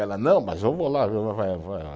Ela, não, mas eu vou lá